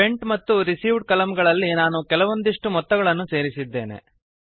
spent ಮತ್ತು received column ಗಳಲ್ಲಿ ನಾನು ಕೆಲವೊಂದಿಷ್ಟು ಮೊತ್ತಗಳನ್ನು ಸೇರಿಸಿದ್ದೇನೆ